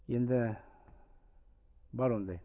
енді бар ондай